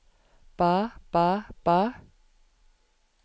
ba ba ba